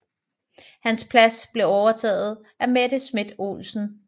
Hans plads blev overtaget af Mette Schmidt Olsen